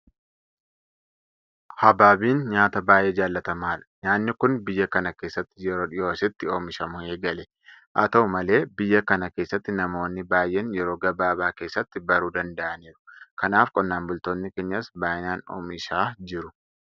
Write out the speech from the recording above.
Habaabiin nyaata baay'ee jaalatamaadha. Nyaanni kun biyya kana keessatti yeroo dhiyoo asitti oomishamuu eegale. Haata'u malee biyya kana keessatti namoonni baay'een yeroo gabaabaa keessatti baruu danda'aniiru. Kanaaf qonnaan bultoonni keenyas baay'inaan oomishaa jiru.